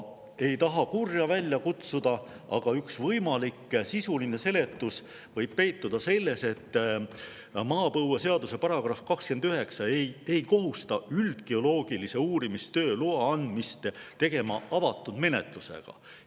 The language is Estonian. Ei taha kurja välja kutsuda, aga üks võimalik sisuline seletus võib peituda selles, et maapõueseaduse § 29 ei kohusta üldgeoloogilise uurimistöö luba andma avatud menetlusega.